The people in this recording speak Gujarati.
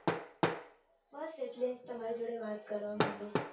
બસ એટલે જ તમારી જોડે વાત કરવા માટે.